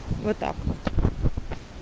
вот так вот